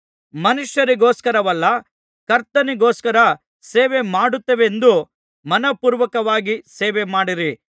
ಮನುಷ್ಯರಿಗೋಸ್ಕರವಲ್ಲ ಕರ್ತನಿಗೋಸ್ಕರ ಸೇವೆಮಾಡುತ್ತೇವೆಂದು ಮನಃಪೂರ್ವಕವಾಗಿ ಸೇವೆಮಾಡಿರಿ